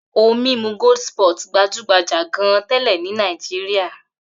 Ohun-mímu Goldspot gbajú-gbajà gan-an tẹ́lẹ̀ ní Nàìjíríà.